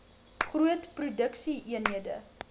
groot produksie eenhede